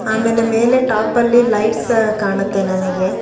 ಆಮೇಲೆ ಮೇಲೆ ಟಾಪ್ ಅಲ್ಲಿ ಲೈಟ್ಸ್ ಕಾಣುತ್ತೆ ನಮಗೆ.